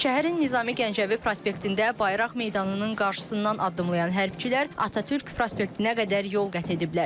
Şəhərin Nizami Gəncəvi prospektində Bayraq Meydanının qarşısından addımlayan hərbiçilər Atatürk prospektinə qədər yol qət ediblər.